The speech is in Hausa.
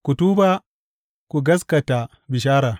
Ku tuba, ku gaskata bishara!